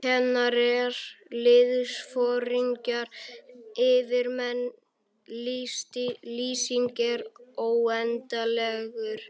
Kennarar, liðsforingjar, yfirmenn- listinn er óendanlegur.